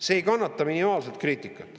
See ei kannata minimaalsetki kriitikat.